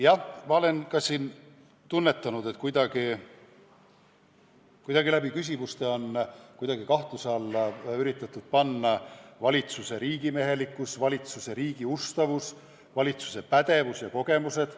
Jah, ma olen ka tunnetanud, et küsimustega on kuidagi kahtluse alla üritatud panna valitsuse riigimehelikkus, valitsuse ustavus riigile, valitsuse pädevus ja kogemused.